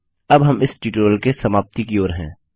अब हम इस ट्यूटोरियल की समाप्ति की ओर हैं